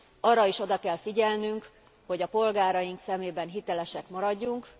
Arra is oda kell figyelnünk, hogy a polgáraink szemében hitelesek maradjunk.